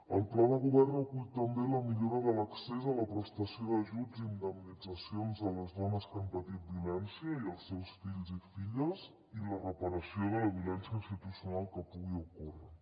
el pla de govern recull també la millora de l’accés a la prestació d’ajuts i indemnitzacions a les dones que han patit violència i als seus fills i filles i la reparació de la violència institucional que pugui ocórrer